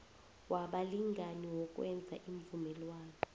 wabalingani wokwenza iimvumelwano